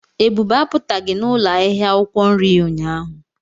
Ebube apụtaghị n'ụlọ ahịa akwụkwọ nri ya ụnyahụ.